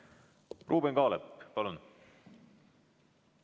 Ruuben Kaalep, palun!